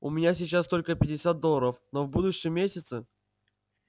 у меня сейчас только пятьдесят долларов но в будущем месяце